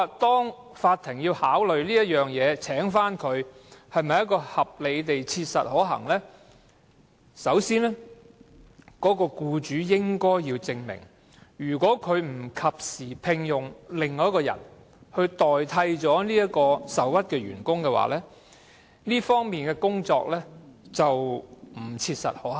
因此，法庭在考慮再次聘用這名員工是否合理地切實可行時，僱主必須先證明，如果他不及時另聘僱員替代該名受屈員工，在工作方面將不切實可行。